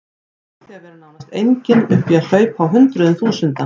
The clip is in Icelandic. Frá því að vera nánast engin upp í að hlaupa á hundruðum þúsunda.